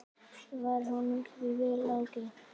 Varð honum því vel ágengt.